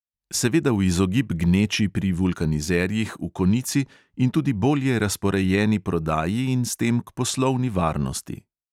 Seveda v izogib gneči pri vulkanizerjih v konici in tudi bolje razporejeni prodaji in s tem k poslovni varnosti.